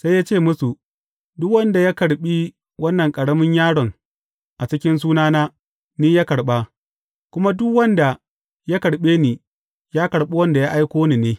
Sai ya ce musu, Duk wanda ya karɓi wannan ƙaramin yaron a cikin sunana, ni ya karɓa, kuma duk wanda ya karɓe ni, ya karɓi wanda ya aiko ni ne.